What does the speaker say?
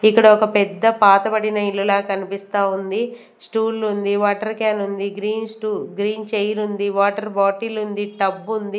ఇక్కడ ఒక పెద్ద పాతబడిన ఇల్లులా కనిపిస్తా ఉంది స్టూల్ ఉంది వాటర్ క్యాన్ ఉంది గ్రీన్ స్టూ గ్రీన్ చైర్ ఉంది వాటర్ బాటిల్ ఉంది టబ్బుంది .